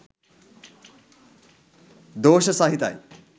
දෝෂ සහිතයි.